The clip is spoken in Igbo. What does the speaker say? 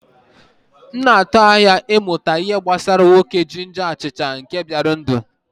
M na-atụ anya ịmụta ihe gbasara nwoke jinja achicha nke bịara ndụ.